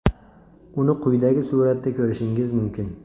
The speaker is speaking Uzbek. Uni quyidagi suratda ko‘rishingiz mumkin.